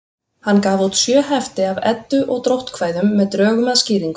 Hann gaf út sjö hefti af Eddu- og dróttkvæðum með drögum að skýringum.